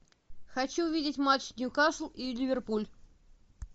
хочу увидеть матч ньюкасл и ливерпуль